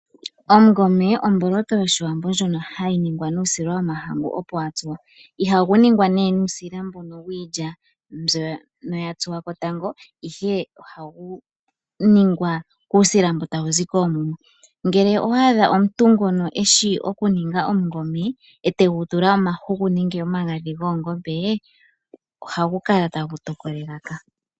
Oshikwiila omboloto yoshiwambo ndjono hayi ningwa nuusila mbono opo wa tsuwa. Ihashi ningwa nuusila mbu wiilya mbyono opo ya tsuwa tango, ihe oha shi ningwa nuusila mbu hawu zi koomuma. Ngele owa adha omuntu ngono eshi oku ninga oshikwiila eta tula mo omahuku nenge omagadhi goongombe nena ohashi kala tashi tokola elaka.